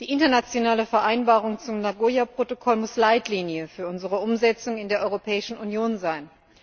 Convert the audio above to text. Die internationale Vereinbarung zum Nagoya Protokoll muss Leitlinie für unsere Umsetzung in der Europäischen Union sein.